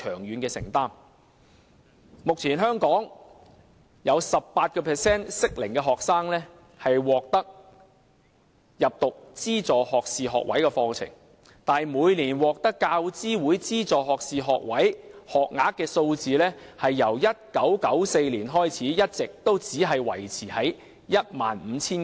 香港目前有 18% 的適齡學生入讀資助學士學位課程，但由1994年開始，每年獲得大學教育資助委員會資助的學士課程學額一直只維持在大約 15,000 個。